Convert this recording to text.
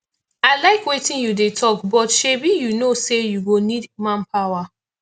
i iike wetin you dey talk but shebi you no say you go need manpower